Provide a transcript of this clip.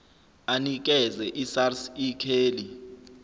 anikeze isars ikheli